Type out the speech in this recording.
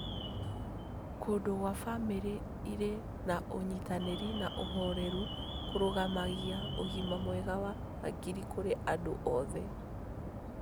Kũndũ gwa bamĩrĩ ĩrĩ na ũnyitanĩri na ũhoreru kũrũgamagia ũgima mwega wa hakiri kũrĩ andũ othe.